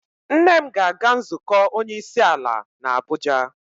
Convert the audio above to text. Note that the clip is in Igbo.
Nne m ga-aga nzukọ onye isi ala n'Abuja.